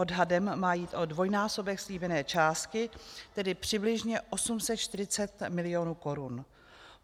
Odhadem má jít o dvojnásobek slíbené částky, tedy přibližně 840 milionů korun.